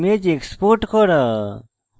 image export করা